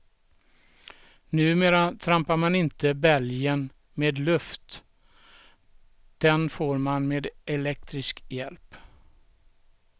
Numera trampar man inte bälgen med luft, den får man med elektrisk hjälp.